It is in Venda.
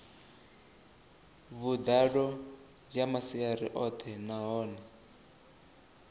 vhuḓalo ya masia oṱhe nahone